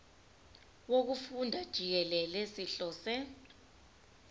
wokufunda jikelele sihlose